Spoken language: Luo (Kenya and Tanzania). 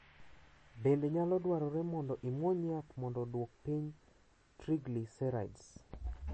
Bende nyalo dwarore mondo imuony yath mondo oduok piny triglycerides